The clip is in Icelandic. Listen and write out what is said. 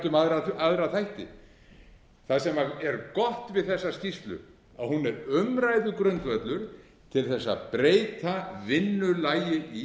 um aðra þætti það sem er gott við þessa skýrslu er að hún er umræðugrundvöllur til þess að breyta vinnulagi í